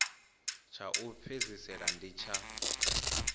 tsha u fhedzisela ndi tsha